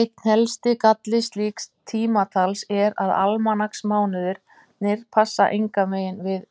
Einn helsti galli slíks tímatals er að almanaksmánuðirnir passa engan veginn við